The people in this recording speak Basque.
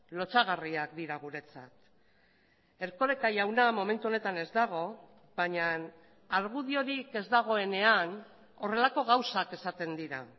lotsagarriak dira guretzat erkoreka jauna momentu honetan ez dago baina argudiorik ez dagoenean horrelako gauzak esaten dira